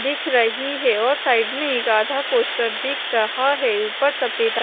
दिख रही है और साइड मे एक आधा पोस्टर दिख रहा है ऊपर सफेद र --